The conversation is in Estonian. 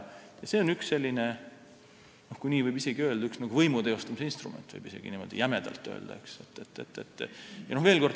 See on üks selline võimu teostamise instrument, kui niimoodi jämedalt võib öelda.